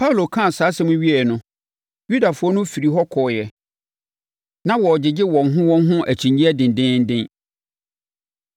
Paulo kaa saa asɛm yi wieeɛ no, Yudafoɔ no firii hɔ kɔeɛ a na wɔregyegye wɔn ho wɔn ho akyinnyeɛ dendeenden.